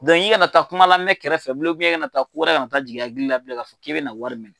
i kana na taa kuma lamɛn kɛrɛfɛ bilen i kana taa kowɛrɛ kana taa jigin i hakili la bilen k'a fɔ k'i bɛna wari minɛ.